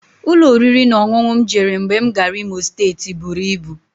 Ụlọ oriri na ọṅụṅụ m jere mgbe m gara Imo steeti buru ibu